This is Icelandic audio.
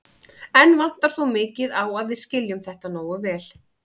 Enn vantar þó mikið á að við skiljum þetta nógu vel.